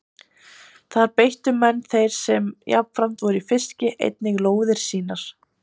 Þar beittu menn þeir sem jafnframt voru í fiski einnig lóðir sínar.